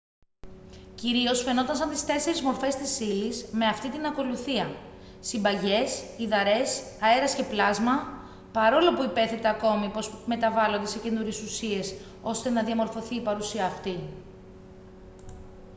κυρίως φαινόταν σαν τις 4 μορφές της ύλης με αυτήν την ακολουθία: συμπαγές υδαρές αέρας και πλάσμα παρόλο που υπέθετε ακόμη πως μεταβάλλονται σε καινούριες ουσίες ώστε να διαμορφωθεί η παρουσία αυτή